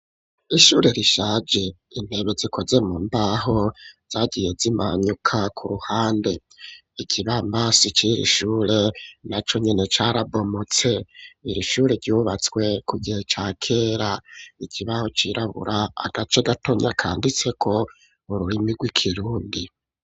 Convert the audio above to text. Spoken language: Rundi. Ishure rishaje intebe zikoze mu mbaho zagiye zimanyuka ku ruhande ikibambasi ciri ishure naco nyine carabomutse iri shure yubatswe ku gihe ca kera ikibaho cirabura agace gatonya kanditse ko ururimi rw'ikirundi.